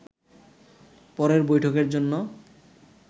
পরের বৈঠকের জন্য